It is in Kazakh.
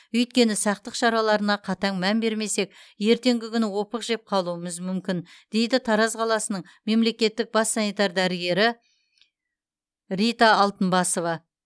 өйткені сақтық шараларына қатаң мән бермесек ертеңгі күні опық жеп қалуымыз мүмкін дейді тараз қаласының мемлекеттік бас санитар дәрігері рита алтынбасова